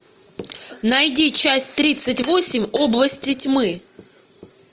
найди часть тридцать восемь области тьмы